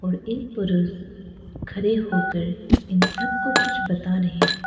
और एक पुरुस खरे होकर इन सबको कुछ बता रहे हैं।